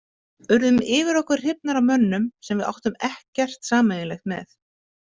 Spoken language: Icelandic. Urðum yfir okkur hrifnar af mönnum sem við áttum ekkert sameiginlegt með.